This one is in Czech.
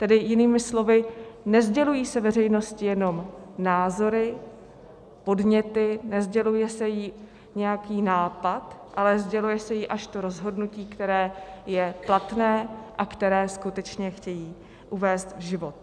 Tedy jinými slovy, nesdělují se veřejnosti jenom názory, podněty, nesděluje se jí nějaký nápad, ale sděluje se jí až to rozhodnutí, které je platné a které skutečně chtějí uvést v život.